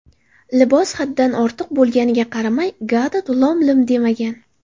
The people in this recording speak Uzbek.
Libos haddan ortiq bo‘lganiga qaramay Gadot lom-lim demagan.